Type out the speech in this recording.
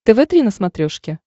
тв три на смотрешке